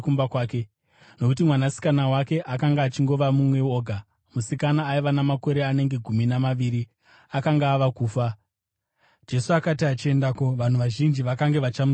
nokuti mwanasikana wake akanga achingova mumwe oga, musikana aiva namakore anenge gumi namaviri, akanga ava kufa. Jesu akati achiendako, vanhu vazhinji vakange vachamutsikirira.